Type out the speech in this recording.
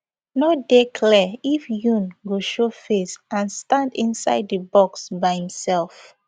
no dey clear if yoon go showface and stand inside di box by imsef